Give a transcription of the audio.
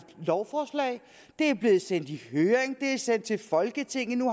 lovforslag det er blevet sendt i høring og er sendt til folketinget nu